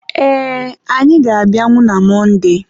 ee, anyị ga-abịanwu na Monde